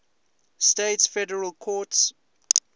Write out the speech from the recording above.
states federal courts